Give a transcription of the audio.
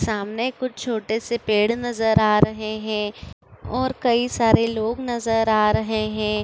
सामने कुछ छोटे से पेड़ नजर आ रहे है और कई सारे लोग नजर आ रहे हैं।